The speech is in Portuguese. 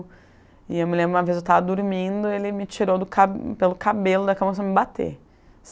E eu me lembro, uma vez eu tava dormindo, ele me tirou do ca pelo cabelo da cama e começou a me bater.